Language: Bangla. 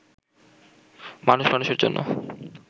মানুষ মানুষের জন্য